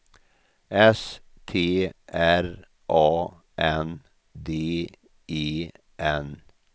S T R A N D E N